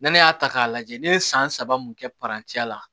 N'ale y'a ta k'a lajɛ ne ye san saba mun kɛ la